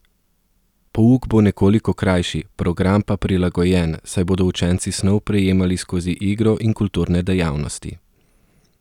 Pouk bo nekoliko krajši, program pa prilagojen, saj bodo učenci snov prejemali skozi igro in kulturne dejavnosti.